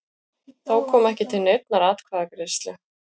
Þá kom ekki til neinnar atkvæðagreiðslu